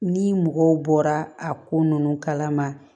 Ni mɔgɔw bɔra a ko ninnu kala ma